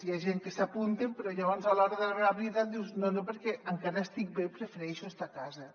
hi ha gent que s’hi apunten però llavors a l’hora de la veritat diuen no no perquè encara estic bé i prefereixo estar a casa